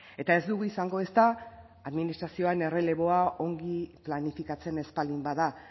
eta ez dugu izango ezta administrazioan erreleboa ongi planifikatzen ez baldin bada